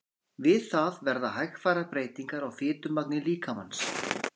Við það verða hægfara breytingar á fitumagni líkamans.